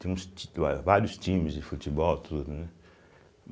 Tinha uns ti lá vários times de futebol, tudo, né?